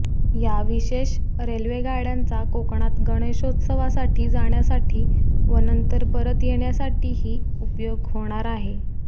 या विशेष रेल्वे गाड्यांचा कोकणात गणेशोत्सवासाठी जाण्यासाठी व नंतर परत येण्यासाठीही ही उपयोग होणार आहे